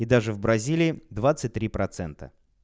и даже в бразилии двадцать три процента